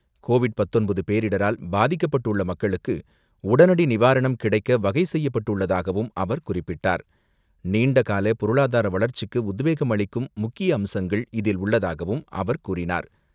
Covid பத்தொன்பது பேரிடரால் பாதிக்கப்பட்டுள்ள மக்களுக்கு உடனடி நிவாரணம் கிடைக்க வகை செய்யப்பட்டுள்ளதாகவும் அவர் குறிப்பிட்டார். நீண்ட கால பொருளாதார வளர்ச்சிக்கு உத்வேகம் அளிக்கும் முக்கிய அம்சங்கள் இதில் உள்ளதாகவும் அவர் கூறினார்.